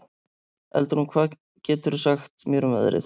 Eldrún, hvað geturðu sagt mér um veðrið?